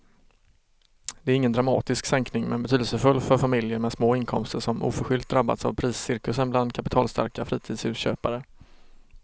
Det är ingen dramatisk sänkning men betydelsefull för familjer med små inkomster som oförskyllt drabbats av priscirkusen bland kapitalstarka fritidshusköpare.